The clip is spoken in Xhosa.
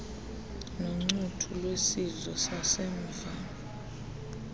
noncuthu lwesidlo sasemva